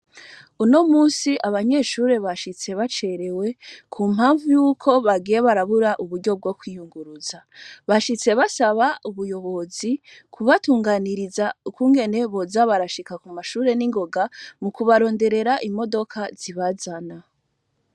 Uno musi, abanyeshure bashitse bacerewe kumpamvu yuko bagiye barabura uburyo bwo kwiyunguruza. Bashitse basaba ubuyobozi kubatunganiriza ukungene boza barashika kumashure ningoga, mukubaronderera imodoka zibazana.